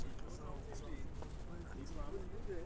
сказал завтра надо поехать забрать